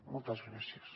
moltes gràcies